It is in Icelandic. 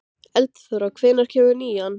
Eldþóra, hvenær kemur nían?